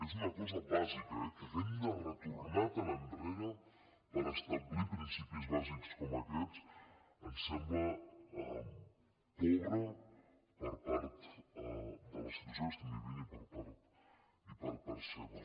és una cosa bàsica eh que hàgim de retornar tan enrere per establir principis bàsics com aquests ens sembla pobre per part de la situació que estem vivint i per part seva